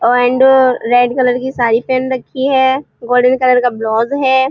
And red colour की साड़ी पहन रखी है। गोल्डन कलर का ब्लाउज है।